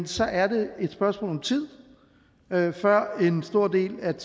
så er det et spørgsmål om tid før en stor del af